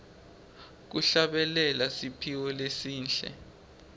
kuhlabelela kusiphiwo lesihle